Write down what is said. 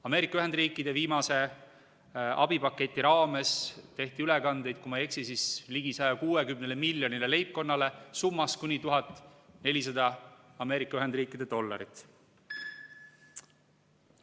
Ameerika Ühendriikide viimase abipaketi raames tehti ülekandeid, kui ma ei eksi, siis ligi 160 miljonile leibkonnale summas kuni 1400 Ameerika Ühendriikide dollarit.